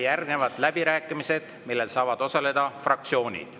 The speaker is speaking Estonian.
Järgnevad läbirääkimised, kus saavad osaleda fraktsioonid.